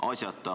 Asjata.